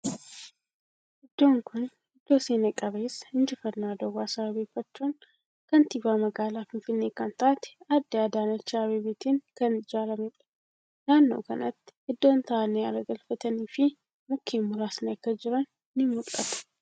Iddoon kuni iddoo seena qabeessa injiffannoo Adawaa sababeeffachuun kaantiibaa magaalaa Finfinnee kan taate aadde Adaanach Abeebeetin kan ijaarameedha. Naannoo kanatti iddoon taa'anii aara galafatanii fi mukkeen muraasni akka jiran ni mul'ata.